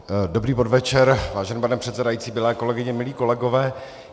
Dobrý podvečer, vážený pane předsedající, milé kolegyně, milí kolegové.